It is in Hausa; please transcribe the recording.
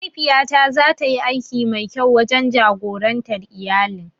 Mahaifiya ta zatayi aiki mai kyau wurin jagorantar iyalin.